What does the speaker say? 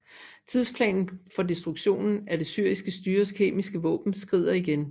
Tidsplanen for destruktionen af det syriske styres kemiske våben skrider igen